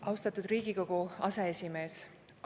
Austatud Riigikogu aseesimees!